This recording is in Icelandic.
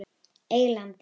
Eylandi